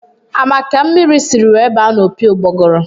A ma ka mmiri si were baa n'opi ugboguru?